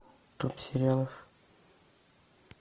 топ сериалов